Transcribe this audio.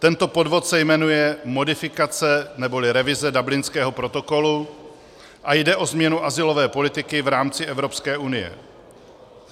Tento podvod se jmenuje modifikace neboli revize Dublinského protokolu a jde o změnu azylové politiky v rámci Evropské unie.